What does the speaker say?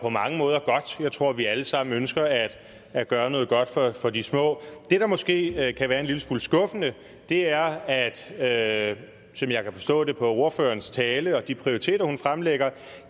på mange måder godt jeg tror vi alle sammen ønsker at gøre noget godt for de små det der måske kan være en lille smule skuffende er at de som jeg kan forstå det på ordførerens tale og de prioriteter hun fremlægger